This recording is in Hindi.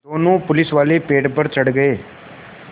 दोनों पुलिसवाले पेड़ पर चढ़ गए